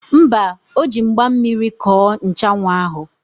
Mba, o ji mgba mmiri kọọ nchanwụ ahụ.